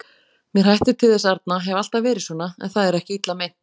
Mér hættir til þess arna, hef alltaf verið svona, en það er ekki illa meint.